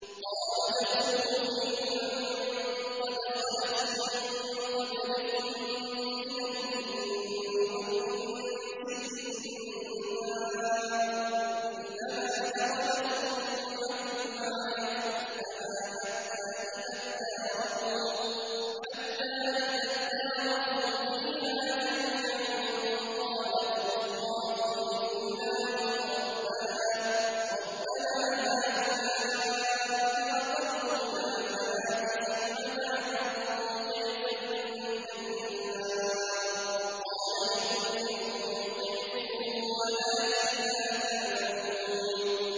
قَالَ ادْخُلُوا فِي أُمَمٍ قَدْ خَلَتْ مِن قَبْلِكُم مِّنَ الْجِنِّ وَالْإِنسِ فِي النَّارِ ۖ كُلَّمَا دَخَلَتْ أُمَّةٌ لَّعَنَتْ أُخْتَهَا ۖ حَتَّىٰ إِذَا ادَّارَكُوا فِيهَا جَمِيعًا قَالَتْ أُخْرَاهُمْ لِأُولَاهُمْ رَبَّنَا هَٰؤُلَاءِ أَضَلُّونَا فَآتِهِمْ عَذَابًا ضِعْفًا مِّنَ النَّارِ ۖ قَالَ لِكُلٍّ ضِعْفٌ وَلَٰكِن لَّا تَعْلَمُونَ